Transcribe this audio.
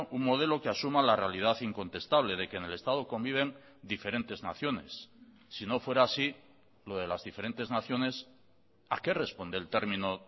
un modelo que asuma la realidad incontestable de que en el estado conviven diferentes naciones si no fuera así lo de las diferentes naciones a qué responde el término